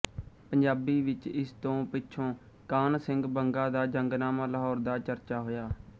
ਪੰਜਾਬੀ ਵਿੱਚ ਇਸ ਤੋਂ ਪਿੱਛੋਂ ਕਾਨ੍ਹ ਸਿੰਘ ਬੰਗਾ ਦਾ ਜੰਗਨਾਮਾ ਲਾਹੌਰ ਦਾ ਚਰਚਾ ਹੋਇਆ